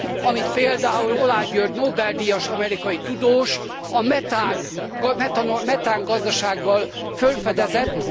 amit például Oláh György Nobel díjas amerikai tudós a metángazdasággal fölfedezett.